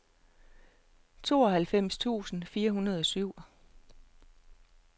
tooghalvfems tusind fire hundrede og syv